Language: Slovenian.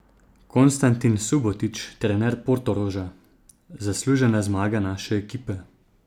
Konstantin Subotić, trener Portoroža: "Zaslužena zmaga naše ekipe.